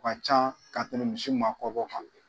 O ka ca ka tɛmɛ misi maakɔrɔba kan